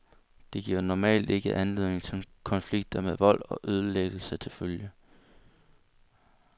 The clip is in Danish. Det giver normalt ikke anledning til konflikter med vold og ødelæggelse til følge.